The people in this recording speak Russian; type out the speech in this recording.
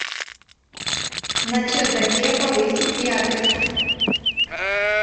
на чердаке повысить яркость